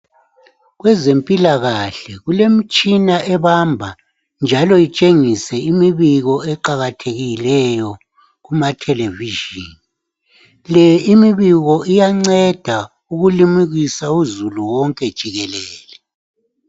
Kwezempilakahle kulemitshina ebamba njalo itshengise imibiko eqakathekileyo kuma television lemibiko iyanceda ukulimukisa uzulu wonke jikelele.